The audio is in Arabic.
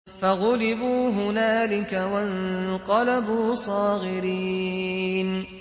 فَغُلِبُوا هُنَالِكَ وَانقَلَبُوا صَاغِرِينَ